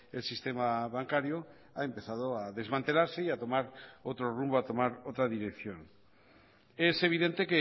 el sistema bancario ha empezado a desmantelarse y a tomar otro rumbo a tomar otra dirección es evidente